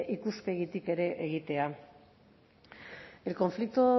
ikuspegitik ere egitea el conflicto